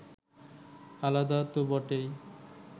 আলাদা তো বটেই